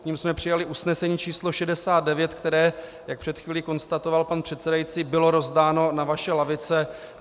K nim jsme přijali usnesení číslo 69, které, jak před chvílí konstatoval pan předsedající, bylo rozdáno na vaše lavice.